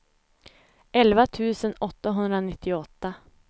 elva tusen åttahundranittioåtta